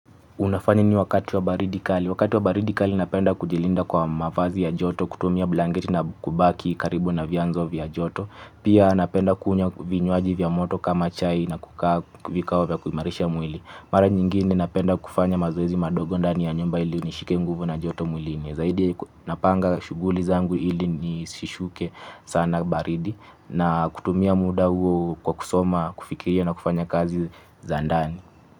Una fanya nini wakati wa baridi kali? Wakati wa baridi kali napenda kujilinda kwa mavazi ya joto kutumia blanketi na kubaki karibu na vianzo vya joto. Pia napenda kunywa vinywaji vya moto kama chai na kukaa vikao vya kumarisha mwili. Mara nyingine napenda kufanya mazoezi madogo ndani ya nyumba ili nishike mguvu na joto mwili. Zaidi napanga shughuli zangu ili nishishike sana baridi na kutumia muda huo kwa kusoma, kufikiria na kufanya kazi zandani.